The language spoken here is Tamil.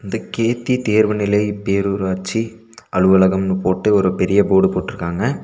கேத்தி தேர்வு நிலை பேரூராட்சி அலுவலகம்னு போட்டு ஒரு பெரிய போடு போட்ருக்காங்க.